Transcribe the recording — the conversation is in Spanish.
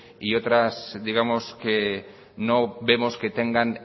y otras digamos que no vemos que tengan